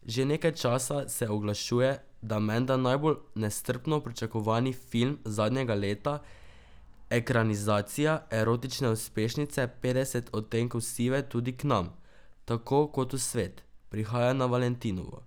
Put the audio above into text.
Že nekaj časa se oglašuje, da menda najbolj nestrpno pričakovani film zadnjega leta, ekranizacija erotične uspešnice Petdeset odtenkov sive tudi k nam, tako kot v svet, prihaja na valentinovo.